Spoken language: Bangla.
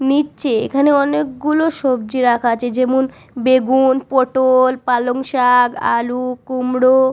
নিচে অনেকগুলো সবজি রাখা আছে। যেমন বেগুন পটল পালং শাক আলু কুমড়ো --